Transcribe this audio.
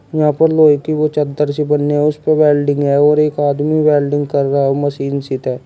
यहां पर लोहे की वो चद्दर सी बनी है। उस पर वेल्डिंग है और एक आदमी वेल्डिंग कर रहा मशीन सीते।